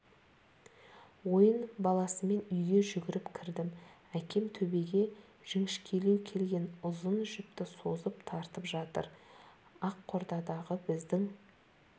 ойын баласымын үйге жүгіріп кірдім әкем төбеге жіңішкелеу келген ұзын жіпті созып тартып жатыр аққорадағы біздің